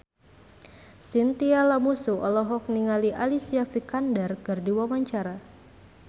Chintya Lamusu olohok ningali Alicia Vikander keur diwawancara